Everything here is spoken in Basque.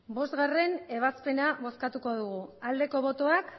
bostgarrena ebazpena bozkatu dugu aldeko botoak